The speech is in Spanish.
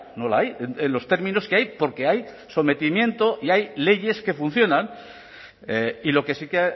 no la hay en los términos que hay porque hay sometimiento y hay leyes que funcionan y lo que sí que